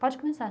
Pode começar.